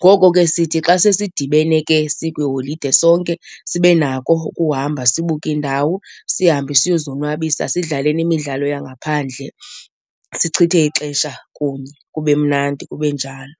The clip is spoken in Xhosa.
Ngoko ke sithi xa sesidibene ke sikwiiholide sonke, sibe nako ukuhamba sibuke indawo sihambe siyozonwabisa sidlale nemidlalo yangaphandle sichithe ixesha kunye kube mnandi, kube njalo.